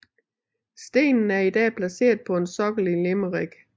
Stenen er i dag placeret på en sokkel i Limerick